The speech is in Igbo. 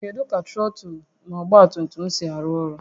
Kedu ka trọtụlụ na ọgba tum tum si arụ ọrụ?